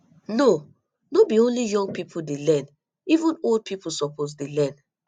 no no be only young pipo dey learn even old pipo suppose dey learn